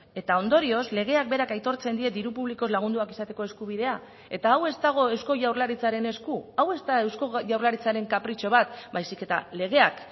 eta ondorioz legeak berak aitortzen die diru publikoz lagunduak izateko eskubidea eta hau ez dago eusko jaurlaritzaren esku hau ez da eusko jaurlaritzaren kapritxo bat baizik eta legeak